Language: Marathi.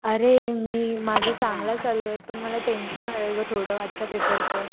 अरे मी माझं चांगलं चाललंय पण मला टेंशन आलाय ग थोडं आजच्या पेपरच.